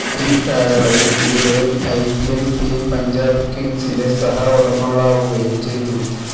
ഈ കാലയളവില് ഇരുവരും ഐപിഎല് ടീം പഞ്ചാബ് കിങ്സിന്റെ സഹ ഉടമകളാവുകയും ചെയ്തു